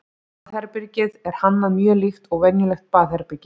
baðherbergið er hannað mjög líkt og venjulegt baðherbergi